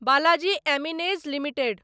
Balaji Amines limited